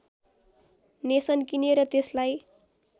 nation किने र त्यसलाई